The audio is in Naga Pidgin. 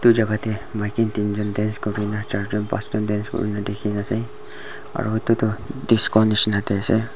etu jagah te maiki tinjont dance kori kina tinjont pashjont dance kori kina ase aru etu tu disco nisna te ase.